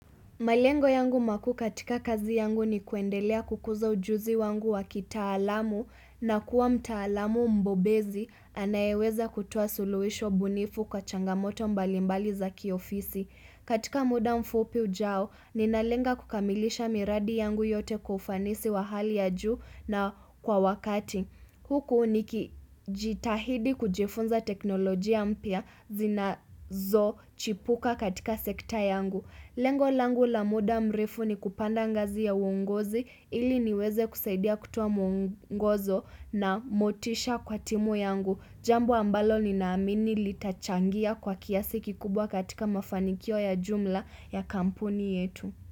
Malengo yangu makuu katika kazi yangu ni kuendelea kukuza ujuzi wangu wa kitaalamu na kuwa mtaalamu mbobezi anayeweza kutoa suluhisho bunifu kwa changamoto mbalimbali za kiofisi. Katika muda mfupi ujao, ninalenga kukamilisha miradi yangu yote kwa ufanisi wa hali ya juu na kwa wakati. Huku nikijitahidi kujifunza teknolojia mpya zinazochipuka katika sekta yangu. Lengo langu la muda mrefu ni kupanda ngazi ya uongozi ili niweze kusaidia kutoa mwongozo na motisha kwa timu yangu. Jambo ambalo ninaamini litachangia kwa kiasi kikubwa katika mafanikio ya jumla ya kampuni yetu.